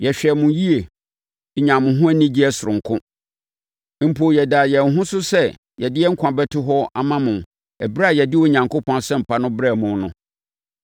Yɛhwɛɛ mo yie, nyaa mo ho anigyeɛ sononko, mpo yɛdaa yɛn ho so sɛ yɛde yɛn nkwa bɛto hɔ ama mo ɛberɛ a yɛde Onyankopɔn Asɛmpa no brɛɛ mo no.